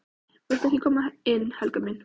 VILTU EKKI KOMA INN, HELGA MÍN!